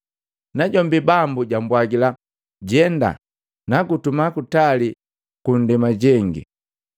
Najombi Bambu jambwagila, ‘Jenda, nagutuma kutali kwa nndema jengi.’ ”